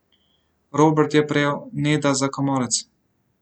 Robert je prijel Neda za komolec.